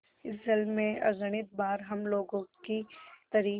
इस जल में अगणित बार हम लोगों की तरी